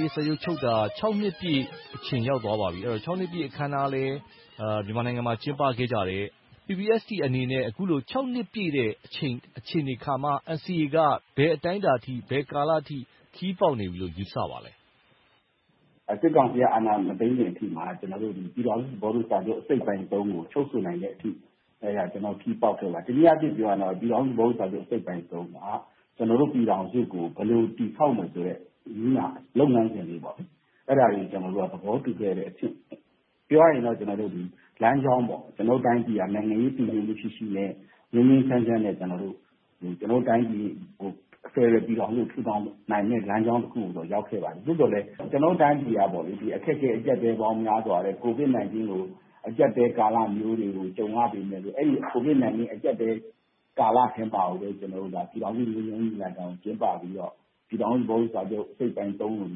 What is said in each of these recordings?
ေး စာချုပ်ချုပ်ဆိုခဲ့တာ နှစ်ပြည့်အချိန် ရောက်သွားပါပြီ။ ခြောက်နှစ်ပြည့်အခမ်းအနားလည်း မြန်မာနိုင်ငံမှာ ကျင်းပခဲ့ကြတယ်။ PPST အနေနဲ့ အခုလို ခြောက်နှစ်ပြည့်တဲ့အချိန်၊ အခြေအနေအခါမှာ NCA က ဘယ်အတိုင်းအတာထိ၊ ဘယ်ကာလအထိ ခရီးပေါက်နေပြီလို့ ယူဆပါသလဲ။ စစ်ကောင်စီက အာဏာမသိမ်းခင်အထိ ကျနော်တို့ ပြည်ထောင်စုသဘောတူစာချုပ် အစိတ်ပိုင်း ကို ချုပ်ဆိုနိုင်သည့်အထိ ခရီးပေါက်ခဲ့ပါတယ်။ တနည်းအားဖြင့်ပြောရင် ပြည်ထောင်စုသဘောတူစာချုပ် အစိတ်ပိုင်း မှာ ကျနော်တို့ ပြည်ထောင်စုကို ဘယ်လိုတည်ဆောက်မယ်ဆိုတဲ့ နည်းနာလုပ်ငန်းစဉ်တွေ အဲဒါတွေကို သဘောတူခဲ့တဲ့အဆင့်။ ပြောရမယ်ဆိုရင်တော့ လမ်းကြောင်း။ ကျနော်တို့တိုင်းပြည်က နိုင်ငံရေး တည်ငြိမ်မှုရှိရှိနဲ့ ငြိမ်းငြိမ်းချမ်းချမ်းနဲ့ ဖယ်ဒရယ်ပြည်ထောင်စုကို ထူထောင်နိုင်မယ့် လမ်းကြောင်းတခုပေါ် ရောက်ရှိခဲ့ပါတယ်။ သို့သော်လဲ ကျနော်တို့ တိုင်းပြည်က ဒီအခက်အခဲ၊ အကျပ်အတည်းပေါင်း များစွာနဲ့ ကိုဗစ်-၁၉ အကျပ်အတည်းကာလမျိုးတွေ ကြုံရပေမယ်လို့ အဲဒီ ကိုဗစ်-၁၉ အကျပ်အတည်းကာလထဲမှာပဲ ကျနော်တို့ ပြည်ထောင်စုငြိမ်းချမ်းရေးညီလာခံကို ကျင်းပခဲ့ပြီးတော့ ပြည်ထောင်စုသဘောတူစာချုပ် အစိတ်အပိုင်း ကို ရယူ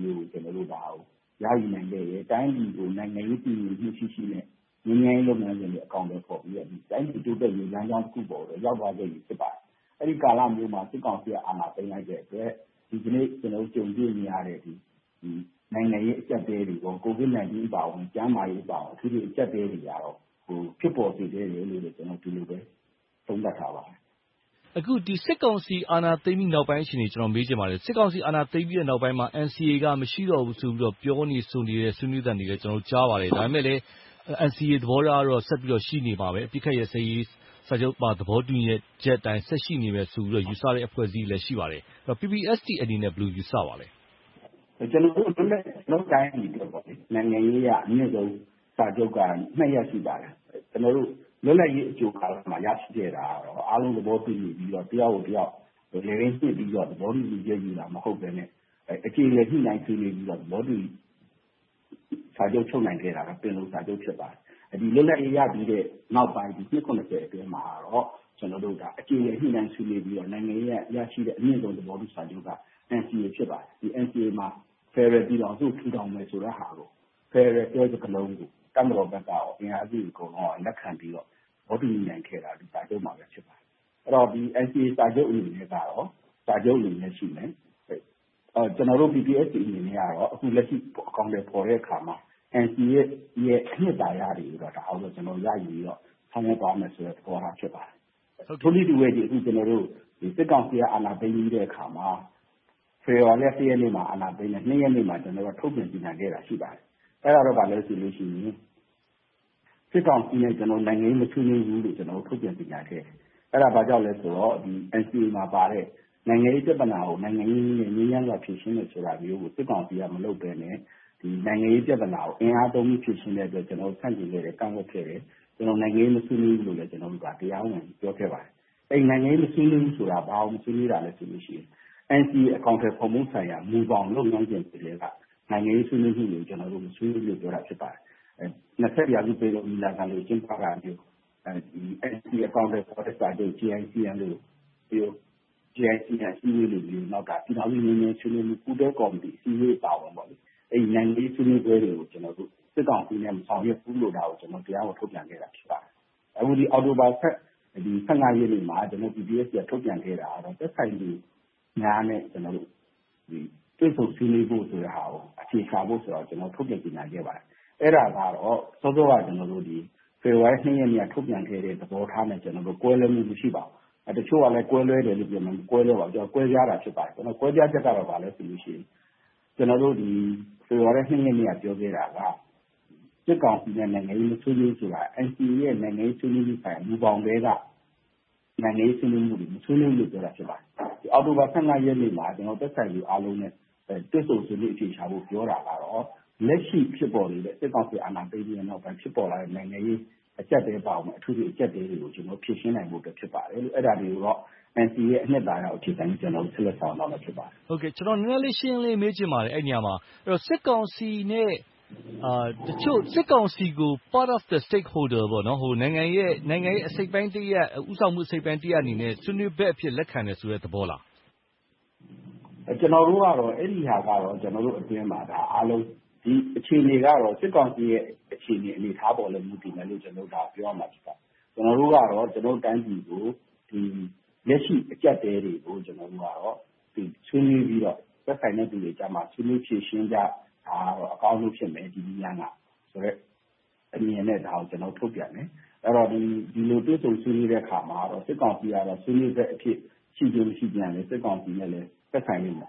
နိုင်ခဲ့တယ်။ တိုင်းပြည်ကို နိုင်ငံရေးတည်ငြိမ်မှုရှိရှိနဲ့ ငြိမ်းချမ်းရေးလုပ်ငန်းစဉ်တွေကို အကောင်အထည်ဖော်ပြီးတော့ တိုင်းပြည်တိုးတက်ရေး လမ်းကြောင်းတခုပေါ်ကို ရောက်သွားခဲ့ပြီ ဖြစ်ပါတယ်။ အဲဒီကာလမျိုးမှာ စစ်ကောင်စီက အာဏာသိမ်းလိုက်တဲ့အတွက် ဒီကနေ့ ကြုံတွေ့နေရတဲ့ နိုင်ငံရေးအကျပ်အတည်းတွေနဲ့ ကိုဗစ်-၁၉ အပါအဝင်၊ ကျန်းမာရေးအပါအဝင်၊ အထွေထွေအကျပ်အတည်းတွေကတော့ ဖြစ်ပေါ်စေခဲ့တယ်လို့ ဒီလိုပဲသုံးသပ်ပါတယ်။ အခု စစ်ကောင်စီ အာဏာသိမ်းပြီးနောက်ပိုင်းအခြေအနေကို မေးချင်ပါတယ်။ စစ်ကောင်စီ အာဏာသိမ်းပြီးနောက်ပိုင်းမှာ NCA က မရှိတော့ဘူးလို့ ပြောနေဆိုနေ ဆွေးနွေးသံတွေလည်း ကျနော်တို့ ကြားပါတယ်။ ဒါပေမဲ့လဲ NCA သဘောထားကတော့ ရှိနေမှာပဲ။ အပစ်ခတ်ရပ်စဲရေးသဘောတူ စာချုပ်ပါ သဘောတူညီချက်အတိုင်း ဆက်ရှိနေမယ်ဆိုတဲ့ ယူဆတဲ့ အဖွဲ့အစည်းတွေလည်း ရှိပါတယ်။ PPST အနေနဲ့ ဘယ်လိုယူဆပါသလဲ။ ကျနော်တို့ တိုင်းပြည်အတွက် နိုင်ငံရေးအရ အမြင့်ဆုံးစာချုပ်က နှစ်ရပ် ရှိပါတယ်။ ကျနော်တို့ လွတ်လပ်ရေးအကြိုကာလမှာ ရရှိခဲ့တာ အားလုံးသဘောတူညီပြီသား၊ တယောက်ကိုတယောက် တကယ်လည်းတွေ့ပြီးတော့ သဘောတူညီချက်ယူတာ မဟုတ်ဘဲနဲ့ အကြေအလည်ညှိနှိုင်းဆွေးနွေးပြီးတော့ သဘောတူစာချုပ် ချုပ်နိုင်ခဲ့တာက ပင်လုံစာချုပ် ဖြစ်ပါတယ်။ ဒီနောက် လွတ်လပ်ရေးရပြီးနောက်ပိုင်း နှစ် အတွင်းမှာတော့ ကျနော်တို့ အကြေအလည်ညှိနှိုင်းဆွေးနွေးပြီးတော့ နိုင်ငံရေးနဲ့ အမြင့်ဆုံးရရှိတဲ့ သဘောတူစာချုပ်က NCA ဖြစ်ပါတယ်။ NCA မှာ ဖယ်ဒရယ်ပြည်ထောင်စု ထူထောင်မယ့်ဟာကို ‘ဖယ်ဒရယ်’ ဆိုတဲ့ စကားလုံးကို တပ်မတော်ဘက်နဲ့ အင်အားစုတွေအကုန်လုံးက လက်ခံပြီးတော့ သဘောတူညီနိုင်ခဲ့တာ ဒီစာချုပ်မှာပဲ ဖြစ်ပါတယ်။ အဲဒီတော့ NCA စာချုပ်အနေနဲ့ကတော့ စာချုပ်အနေနဲ့ ရှိမယ်။ ကျနော်တို့ PPST အနေနဲ့ကတော့ အခုလက်ရှိ အကောင်အထည်ဖော်တဲ့အခါမှာ NCA ရဲ့ အနစ်သာရတွေကို ရယူပြီးတော့ ဆောင်ရွက်သွားမယ်ဆိုတဲ့ သဘောထား ဖြစ်ပါတယ်။ ထိုနည်းတူပဲ အခု စစ်ကောင်စီက အာဏာသိမ်းပြီးတဲ့နောက်မှာ ဖေဖေါ်ဝါရီလ ရက်နေ့မှာ အာဏာသိမ်းတယ်။ ရက်နေ့မှာ ကျနော်တို့ ထုတ်ပြန်ကြေငြာခဲ့တာ ရှိပါတယ်။ အဲဒါက ဘာလဲဆိုရင် စစ်ကောင်စီနဲ့ နိုင်ငံရေးမဆွေးနွေးဘူးလို့ ထုတ်ပြည်ကြေညာခဲ့တယ်။ အဲဒါ ဘာကြောင့်လဲဆိုတော့ NCA မှာပါတဲ့ နိုင်ငံရေးပြဿနာကို နိုင်ငံရေးနည်းနဲ့ ငြိမ်းချမ်းစွာဖြေရှင်းမယ်ဆိုတာမျိုးကို စစ်ကောင်စီက မလုပ်ဘဲနဲ့ ဒီနိုင်ငံရေးပြဿနာကို အင်အားသုံးပြီးဖြေရှင်းတဲ့အတွက် ကျနော်တို့ ဆန့်ကျင်ခဲ့တယ်၊ ကန့်ကွက်ခဲ့တယ်။ ကျနော်တို့က နိုင်ငံရေးမဆွေးနွေးဘူးလို့လည်း တရားဝင်ပြောခဲ့ပါတယ်။ အဲဒီနိုင်ငံရေးမဆွေးနွေးဘူးဆိုတာ ဘာကို မဆွေးနွေးတာလဲဆိုရင် NCA အကောင်အထည်ဖော်မှုဆိုင်ရာ မူဘောင်လုပ်ငန်းစဉ်တွေထဲက နိုင်ငံရေးဆွေးနွေးမှုတွေကို ကျနော်တို့ မဆွေးနွေးဘူးလို့ပြောတာ ဖြစ်ပါတယ်။ ၂၁ ရာစု ပင်လုံညီလာခံကို ကျင်းပတာမျိုး၊ NCA အကောင်အထည်ဖော်တဲ့ စာချုပ် JMC လို ပြည်ထောင်စု ငြိမ်းချမ်းရေးဆွေးနွေးမှု ပူးတွဲကော်မတီ အစည်းအဝေးတွေအပါအဝင် အဲဒီလို နိုင်ငံရေးဆွေးနွေးပွဲတွေကို ကျနော်တို့ တက်ရောက်မဆွေးနွေးဘူးလို့ ကျနော်တို့ ထုတ်ပြန်ခဲ့တာ ဖြစ်ပါတယ်။ အခုလဲ အောက်တိုဘာလ ရက်နေ့မှာ PPST က ထုတ်ပြန်ခဲ့တာကတော့ သက်ဆိုင်သူများနဲ့ တွေ့ဆုံဆွေးနွေးဖို့ဆိုတဲ့ဟာကို အဖြေရှာဖို့ဆိုတာကို ထုတ်ပြန်ကြေငြာခဲ့ပါတယ်။ အဲဒါကတော့ စောစောက ဖေဖေါ်ဝါရီလ ရက်နေ့က ထုတ်ပြန်ခဲ့တဲ့ သဘောထားနဲ့ ကွဲလွဲမှု မရှိပါဘူး။ တချို့ကတော့ ကွဲလွဲတယ်လို့ ပြောပေမယ့် မကွဲလွဲပါဘူး။ ကွဲပြားတာ ဖြစ်ပါတယ်။ ကွဲပြားချက်က ဘာလဲဆိုရင် ကျနော်တို့ ဖေဖေါ်ဝါရီလ ရက်နေ့ ပြောခဲ့တာက စစ်ကောင်စီနဲ့ နိုင်ငံရေးမဆွေးနွေးဘူးဆိုတာ NCA ရဲ့ နိုင်ငံရေးဆွေးနွေးမှုဆိုင်ရာ မူဘောင်ထဲက နိုင်ငံရေးဆွေးနွေးမှုတွေကို မဆွေးနွေးဘူးလို့ပြောတာ ဖြစ်ပါတယ်။ အောက်တိုဘာလ ရက်နေ့မှာ သက်ဆိုင်ရာသူအားလုံးနဲ့ တွေ့ဆုံဆွေးနွေးဖို့ ပြောတာကတော့ လက်ရှိဖြစ်ပေါ်နေတဲ့ စစ်ကောင်စီအာဏာသိမ်းပြီးနောက်ပိုင်း ဖြစ်ပေါ်လာတဲ့ နိုင်ငံရေးအကျပ်အတည်းအပါအဝင် အကျပ်အတည်းတွေကို ဖြေရှင်းနိုင်ဖို့အတွက် ဖြစ်ပါတယ်။ အဲဒါတွေကိုတော့ NCA ရဲ့ အနစ်သာရကို အခြေခံပြီးတော့ ဆက်လက်ဆောင်ရွက်သွားမှာ ဖြစ်ပါတယ်။ ကျနော် နည်းနည်းလေး ရှင်းရှင်းလင်းလင်း မေးချင်ပါတယ်။ အဲဒီနေရာမှာ စစ်ကောင်စီကို part of the stakeholder နိုင်ငံရဲ့အစိတ်အပိုင်းတရပ်၊ ဦးဆောင်မှုအစိတ်အပိုင်းတရပ်အနေနဲ့ ဆွေးနွေးဘက်အဖြစ် လက်ခံတယ်ဆိုတဲ့ သဘောလား။ အဲဒါကတော့ ကျနော်တို့အတွင်းမှာ အားလုံးက ဒီအခြေအနေအတွင်းမှာတော့ စစ်ကောင်စီရဲ့ အခြေအနေ၊ အနေအထားပေါ်လည်း မူတည်မယ်လို့ ပြောရမှာ ဖြစ်ပါတယ်။ ကျနော်တို့ကတော့ တိုင်းပြည်ကို လက်ရှိအကျပ်အတည်းတွေကို ဆွေးနွေးပြီးတော့ သက်ဆိုင်သူတွေကြားမှာ ဆွေးနွေးဖြေရှင်းကြ၊ ဒါကတော့ အကောင်ဆုံးဖြစ်မယ် ဒီနည်းလမ်းကဆိုတဲ့ အမြင်နဲ့ ဒါကိုထုတ်ပြန်တယ်။ ဆိုတော့ ဒီလိုတွေ့ဆုံဆွေးနွေးတဲ့အခါမှာ စစ်ကောင်စီကတော့ ဆွေးနွေးဘက်အဖြစ် ရှိခြင်း၊မရှိခြင်းကလဲ စစ်ကောင်စီနဲ့လည်း သက်ဆိုင်ပါလိမ့်မ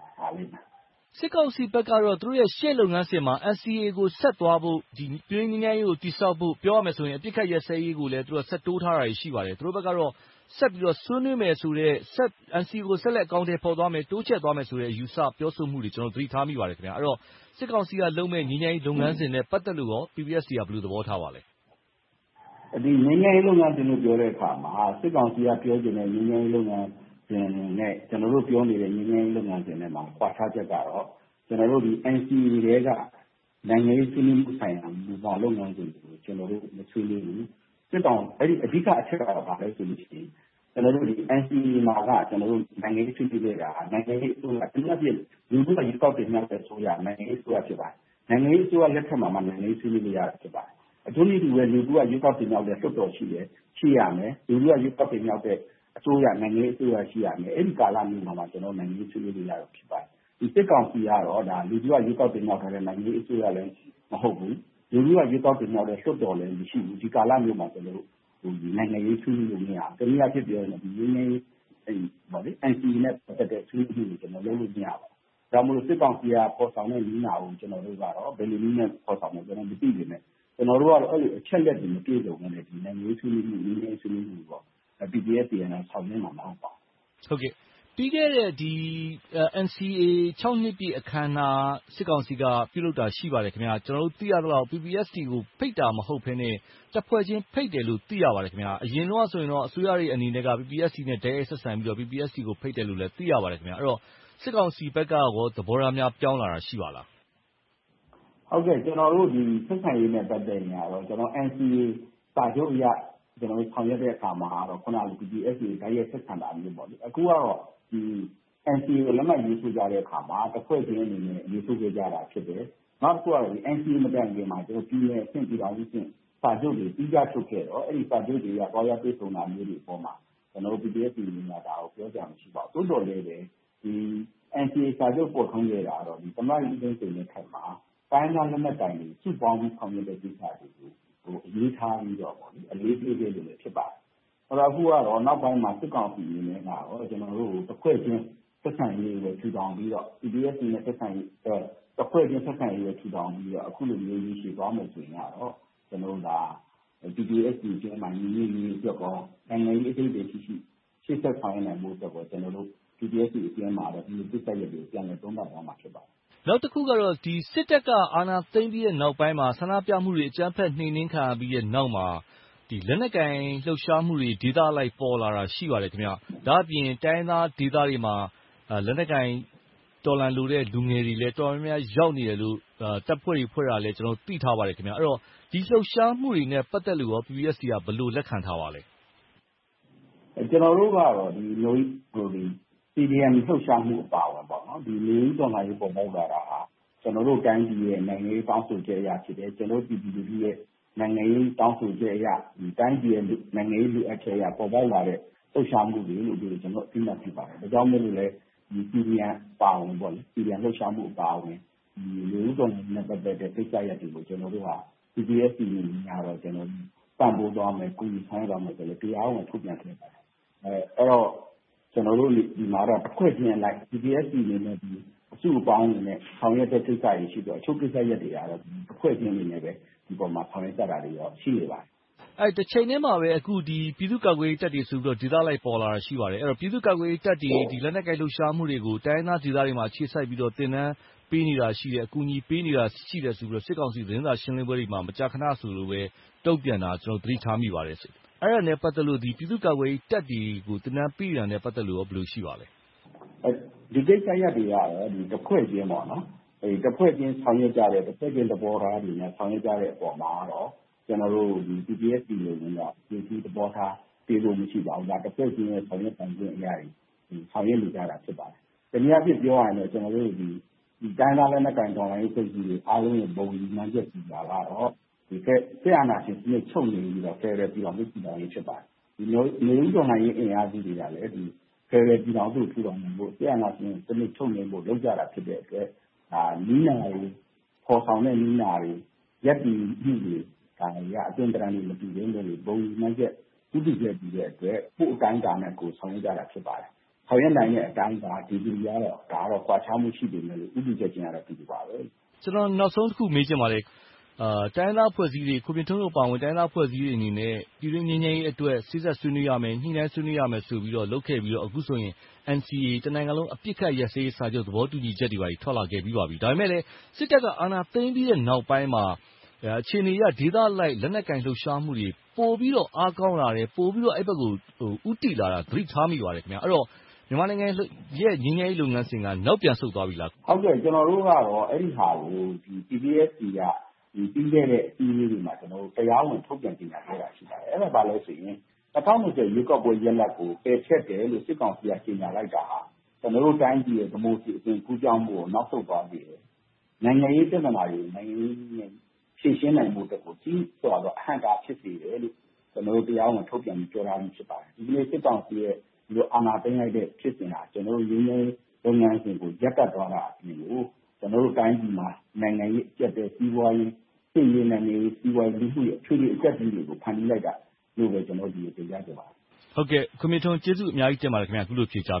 ယ်။ စစ်ကောင်စီဘက်ကတော့ သူတို့ရဲ့ ရှေ့လုပ်ငန်းစဉ်မှာ NCA ကို ဆက်သွားဖို့၊ ပြည်တွင်းငြိမ်းချမ်းရေးကို တည်ဆောက်ဖို့။ ပြောမယ်ဆိုရင် အပစ်ခတ်ရပ်စဲရေးကိုလည်း ဆက်တိုးထားတွေ ရှိပါတယ်။ သူတို့ဘက်ကတော့ ဆက်ပြီးတော့ ဆွေးနွေးမယ်ဆိုတဲ့ NCA ဆက်လက်အကောင်အထည် ဖော်သွားမယ်။ တိုးချဲ့သွားမယ်ဆိုတဲ့ အယူအဆ ပြောဆိုမှုတွေကို ကျနော်တို့ သတိထားမိပါတယ်။ အဲဒီတော့ စစ်ကောင်စီကလုပ်မယ့် ငြိမ်းချမ်းရေးလုပ်ငန်းစဉ်နဲ့ ပတ်သက်လို့ PPST က ဘယ်လိုသဘောထားပါသလဲ။ ငြိမ်းချမ်းရေးလုပ်ငန်းစဉ်လို့ ပြောတဲ့အခါမှာ စစ်ကောင်စီကပြောတဲ့ ငြိမ်းချမ်းရေးလုပ်ငန်းစဉ်နဲ့ ကျနော်တို့ ပြောနေတဲ့ ငြိမ်းချမ်းရေးလုပ်ငန်းစဉ်ထဲမှာ ကွာခြားချက်ကတော့ NCA ထဲက နိုင်ငံရေးဆွေးနွေးမှုဆိုင်ရာ မူဘောင်လုပ်ငန်းစဉ်တွေကို ကျနော်တို့ မဆွေးနွေးဘူး။ အဓိကအချက်က ဘာလဲဆိုရင် ကျနော်တို့ NCA မှာက နိုင်ငံရေးဆွေးနွေးခဲ့တာက အဓိကအားဖြင့် လူထုက ရွေးကောက်တင်မြှောက်ခဲ့တဲ့ အစိုးရက နိုင်ငံရေးအစိုးရ ဖြစ်ပါတယ်။ နိုင်ငံရေးအစိုးရလက်ထက်မှာမှ နိုင်ငံရေးဆွေးနွေးလို့ရတာ ဖြစ်ပါတယ်။ ထို့နည်းတူစွာပဲ လူထုက ရွေးကောက်တင်မြှောက်တဲ့ လွှတ်တော် ရှိမယ်။ ရှိရမယ်။ လူထုက ရွေးကောက်တဲ့ အစိုးရ၊ နိုင်ငံရေးအစိုးရ ရှိရမယ်။ အဲဒီကာလမျိုးမှာမှ နိုင်ငံရေးဆွေးနွေးမှုတွေက ဖြစ်ပါမယ်။ စစ်ကောင်စီကတော့ လူထုက တင်မြှောက်ထားတဲ့ နိုင်ငံရေးအစိုးရလည်း မဟုတ်ဘူး။ လူထုက တင်မြှောက်ထားတဲ့ လွှတ်တော်လည်း မရှိဘူး။ ဒီကာလမျိုးမှာ ကျနော်တို့ နိုင်ငံရေးဆွေးနွေးလို့ မရဘူး။ တနည်းအားဖြင့် NCA နဲ့ ပတ်သက်တဲ့ ဆွေးနွေးမှုတွေလုပ်လို့ မရဘူး။ ဒါကြောင့်မို့ စစ်ကောင်စီက ဖော်ဆောင်တဲ့ နည်းနာကို ကျနော်တို့က ဘယ်လိုနည်းနဲ့ ဖော်ဆောင်မယ်ဆိုတာကို မသိပေမယ့် ကျနော်တို့က အဲဒီအချက်အလက်တွေ မပြည့်စုံဘဲနဲ့ နိုင်ငံရေးဆွေးနွေးမှု၊ ငြိမ်းချမ်းရေး ဆွေးနွေးမှုတွေကိုတော့ PPST အနေနဲ့ ဆောင်ရွက်မှာ မဟုတ်ပါဘူး။ ပြီးခဲ့တဲ့ NCA နှစ်ပြည့် အခမ်းအနား စစ်ကောင်စီက ပြုလုပ်ခဲ့တာ ရှိပါတယ်။ ကျနော်တို့ သိရသလောက် PPST ကို ဖိတ်တာ မဟုတ်ဘဲနဲ့ တဖွဲ့ချင်း ဖိတ်တယ်လို့ သိရပါတယ်။ အရင်တုန်းကတော့ အစိုးရအနေနဲ့ PPST နဲ့ တိုက်ရိုက်ဆက်ဆံပြီးတော့ PPST ကိုလည်း ဖိတ်တယ်လို့ သိရပါတယ်။ အဲဒီတော့ စစ်ကောင်စီဘက်ကရော သဘောထားများ ပြောင်းလာတာ ရှိပါသလား။ ဆက်ဆံရေးနဲ့ ပတ်သက်ရင်တော့ NCA စာချုပ်အရ ဆောင်ရွက်တဲ့အခါမှာတော့ PPST နဲ့ တိုက်ရိုက်ဆက်ဆံတာမျိုးပေါ့။ အခုကတော့ NCA ကို လက်မှတ်ရေးထိုးကြတဲ့အခါမှာ တဖွဲ့ချင်းအနေနဲ့ ရေးထိုးခဲ့ကြတာ ဖြစ်တယ်။ နောက်တခု NCA မတိုင်ခင်မှာ ပြည်နယ်အဆင့်၊ ပြည်ထောင်စုအဆင့် စာချုပ်တွေ သီးခြားချုပ်ခဲ့တော့ အဲဒီစာချုပ်တွေက ကွဲပြားတဲ့အပေါ်မှာ ကျနော်တို့ PPST အနေနဲ့ ဒါကိုပြောစရာ မရှိပါဘူး။ သို့သော်လဲပဲ NCA စာချုပ် ပေါ်ထွန်းခဲ့တာကတော့ သမ္မတကြီးဦးသိန်းစိန်လက်ထက်မှာ တိုင်းရင်းသားလက်နက်ကိုင်တွေကို စုပေါင်းပြီး ဆောင်ရွက်တဲ့ကိစ္စတွေကို အလေးထားပြီးတော့၊ အလေးပေးခဲ့လို့ ဖြစ်ပါတယ်။ ဒါပေမဲ့ နောက်ပိုင်းမှာ စစ်ကောင်စီအနေနဲ့ တဖွဲ့ချင်း ဆက်ဆံရေးတွေ ထူထောင်ပြီးတော့ PPST နဲ့ သက်ဆိုင်တဲ့ တဖွဲ့ချင်းဆက်ဆံရေး ထူထောင်ပြီးတော့ အခုလိုမျိုး ရေရှည်သွားမယ်ဆိုရင်တော့ PPST အတွင်းမှာ ညီညွှတ်ရေးအတွက်နဲ့ နိုင်ငံရေးအဓိပ္ပါယ်ရှိရှိ ရှေ့ဆက်ဆောင်ရွက်ဖို့အတွက်ကော ကျနော်တို့ PPST အတွင်းမှာ ပြန်လည်သုံးသပ်သွားမှာ ဖြစ်ပါတယ်။ နောက်တခုကတော့ စစ်တပ်က အာဏာသိမ်းပြီးနောက်ပိုင်းမှာ ဆန္ဒပြမှုတွေ အကြမ်းဖက်နှိမ်နင်းခံရပြီးနောက်မှာ လက်နက်ကိုင်လှုပ်ရှားမှုတွေ၊ ဒေသအလိုက် ပေါ်လာတာ ရှိပါတယ်။ ဒါ့အပြင် တိုင်းရင်းသားဒေသတွေမှာ လက်နက်ကိုင်တော်လှန်လိုတဲ့ လူငယ်တွေလည်း တော်တော်များများလည်း ရောက်နေတယ်လို့ တပ်ဖွဲ့တွေ ဖွဲ့တယ်လို့လည်း ကျနော်တို့ သိထားပါတယ်။ အဲဒီတော့ ဒီလှုပ်ရှားမှုတွေနဲ့ ပတ်သက်လို့ကော PPST က ဘယ်လိုလက်ခံထားပါသလဲ။ ကျနော်တို့ကတော့ CDM လှုပ်ရှားမှုအပါအဝင် နွေဦးတော်လှန်ရေး ပေါ်ပေါက်လာတာဟာ ကျနော်တို့ တိုင်းပြည်ရဲ့ နိုင်ငံရေး တောင်းဆိုချက်အရ ဖြစ်တယ်။ ကျနော်တို့ ပြည်သူလူထုရဲ့ နိုင်ငံရေးတောင်းဆိုချက်အရ တိုင်းပြည်ရဲ့ နိုင်ငံရေးလိုအပ်ချက်အရ ပေါ်ပေါက်လာတဲ့ လှုပ်ရှားမှုတွေကို ကျနော်တို့ အသိအမှတ်ပြုပါတယ်။ ဒါကြောင့်မို့လဲ CDM အပါအဝင် လူထုတော်လှန်ရေးနဲ့ ပတ်သက်တဲ့ကိစ္စရပ်တွေကို ကျနော်တို့ PPST အနေနဲ့ ပံ့ပိုးသွားမယ်။ ကူညီဆောင်ရွက်သွားမယ်လို့ တရားဝင်ထုတ်ပြန်ခဲ့ပါတယ်။ အဲဒီတော့ ကျနော်တို့ ဒီမှာတော့ တဖွဲ့ချင်းအလိုက် PPST အစုအပေါင်းအနေနဲ့ ဆောင်ရွက်တဲ့ကိစ္စတွေ ရှိသလို၊ တချို့ကိစ္စရပ်တွေကတော့ အဖွဲ့အစည်းအနေနဲ့ ဒီပေါ်မှာ ဆောင်ရွက်ကြတာ ရှိပါတယ်။ တချိန်တည်းမှာပဲ အခု ပြည်သူ့ကာကွယ်ရေးတပ်တွေဆိုပြီးတော့ ဒေသအလိုက် ပေါ်လာတာ ရှိပါတယ်။ အဲဒီတော့ ပြည်သူ့ကာကွယ်ရေးတပ်တွေရဲ့ လက်နက်ကိုင်လှုပ်ရှားမှုတွေကို တိုင်းရင်းသားဒေသတွေမှာ အခြေစိုက်ပြီးတော့ သင်တန်းပေးနေတာ ရှိတယ်။ အကူအညီပေးနေတာ ရှိတယ်ဆိုပြီးတော့ စစ်ကောင်စီ သတင်းစာရှင်းလင်းပွဲတွေမှာ မကြာခဏဆိုသလိုပဲ တုံ့ပြန်တာကို သတိထားမိပါတယ်။ အဲဒါနဲ့ ပတ်သက်လို့ ပြည်သူ့ကာကွယ်ရေးတပ်တွေကို သင်တန်းပေးတာနဲ့ ပတ်သက်လို့ကော ဘယ်လိုရှိပါသလဲ။ ဒီကိစ္စရပ်တွေကတော့ တဖွဲ့ချင်း ဆောင်ရွက်ကြတဲ့၊ သဘောထားတွေနဲ့ ဆောင်ရွက်ကြတဲ့အပေါ်မှာတော့ ကျနော်တို့ PPST အနေနဲ့ သဘောထား ပေးခွင့်မရှိပါဘူး။ ဒါက တဖွဲ့ချင်းအနေနဲ့ ဆောင်ရွက်နေကြတာ ဖြစ်ပါတယ်။ တနည်းအားဖြင့် ပြောရရင် တိုင်းရင်းသားလက်နက်ကိုင် တော်လှန်ရေး အဖွဲ့အစည်းတွေရဲ့ ဘုံရည်မှန်းချက်ကြီးကတော့ စစ်အာဏာရှင်စနစ် ချုပ်ငြိမ်ရေးနဲ့ ဖယ်ဒရယ်ပြည်ထောင်စု တည်ထောင်ရေး ဖြစ်ပါတယ်။ နွေဦးတော်လှန်ရေးအင်အားစုတွေကလည်း ဖယ်ဒရယ်ပြည်ထောင်စု ထူထောင်နိုင်ဖို့၊ စစ်အာဏာရှင်စနစ် ချုပ်ငြိမ်းဖို့ လုပ်ကြတာ ဖြစ်တဲ့အတွက် နည်းနာတွေ၊ ဖော်ဆောင်တဲ့နည်းနာတွေ၊ ရပ်တည်မှုတွေက အတွင်သဏ္ဍာန်တွေ မတူပေမယ့် ဘုံရည်မှန်းချက်၊ ဦးတည်ချက်တူတဲ့အတွက် ကိုယ့်အတိုင်းအတာနဲ့ကိုယ် ဆောင်ရွက်ကြတာ ဖြစ်ပါတယ်။ ဆောင်ရွက်နိုင်တဲ့ အတိုင်းအတာ ဒီဂရီကတော့ ကွာခြားမှု ရှိပေမယ့်လို့ ဦးတည်ချက်ချင်းကတော့ အတူတူပါပဲ။ ကျနော်နောက်ဆုံးတခု မေးချင်ပါတယ်။ တိုင်းရင်းသားအဖွဲ့အစည်းတွေ ခွန်မြင့်ထွန်းတို့အပါအဝင် တိုင်းရင်းသားအဖွဲ့အစည်းတွေအနေနဲ့ ပြည်တွင်းငြိမ်းချမ်းရေးအတွက် စေ့စပ်ဆွေးနွေးရမယ်။ ညှိနှိုင်းဆွေးနွေးရမယ်ဆိုပြီးတော့ လုပ်ခဲ့ပြီးတော့ အခုဆိုရင် NCA တနိုင်ငံလုံး အပစ်ရပ်စဲရေးစာချုပ် သဘောတူညီချက်တွေ ထွက်လာခဲ့ပြီးပါပြီ။ ဒါပေမဲ့လဲ စစ်တပ်က အာဏာသိမ်းပြီးနောက်ပိုင်းမှာ အခြေအနေအရ ဒေသအလိုက် လက်နက်ကိုင်လှုပ်ရှားမှုတွေ ပိုပြီးတော့ အားကောင်းလာတယ်။ ပိုပြီးတော့ အဲဒီဘက်ကို ဦးတည်လာနေတာကို သတိထားမိပါတယ်။ အဲဒီတော့ မြန်မာနိုင်ငံရဲ့ ငြိမ်းချမ်းရေးလုပ်ငန်းစဉ်က နောက်ပြန်ဆုတ်သွားပြီလား။ ကျနော်တို့ကတော့ အဲဒီဟာကို PPST က ပြီးခဲ့တဲ့ အစည်းအဝေးတွေမှာ တရားဝင်ထုတ်ပြန်ကြေညာခဲ့တာ ရှိပါတယ်။ အဲဒါက ဘာလဲဆိုရင် ၂၀၂၀ ရွေးကောက်ပွဲရလဒ်ကို ပယ်ဖျက်တယ်လို့ စစ်ကောင်စီက ကြေငြာလိုက်တာဟာ ကျနော်တို့တိုင်းရဲ့ ဒီမိုကရေစီ ကူးပြောင်းမှုကို နောက်ဆုတ်သွားစေတယ်။ နိုင်ငံရေးပြဿနာတွေကို နိုင်ငံရေးနည်းနဲ့ ဖြေရှင်းနိုင်ဖို့အတွက်ကို ကြီးစွာသော အဟန့်အတား ဖြစ်စေတယ်လို့ ကျနော်တို့ တရားဝင်ထုတ်ပြန် ပြောထားပြီ ဖြစ်ပါတယ်။ ဒီနေ့ စစ်ကောင်စီ အာဏာသိမ်းလိုက်တဲ့ ဖြစ်စဉ်က ကျနော်တို့ ငြိမ်းချမ်းရေးလုပ်ငန်းစဉ်ကို ရပ်တန့်သွားတဲ့အပြင်၊ ကျနော်တို့တိုင်းပြည်မှာ နိုင်ငံရေးအကျပ်အတည်း၊ စီးပွားရေး၊ စစ်ရေး၊ နိုင်ငံရေး၊ လူမှုရေး အထွေထွေအကျပ်အတည်းတွေကို ဖန်တီးလိုက်တာလို့ပဲ တင်ပြချင်ပါတယ်။ ကျေးဇူးအများကြီးတင်ပါတယ်။ အခုလို ဖြေကြားပေး